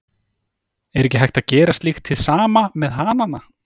Er ekki hægt að gera slíkt hið sama með hanana?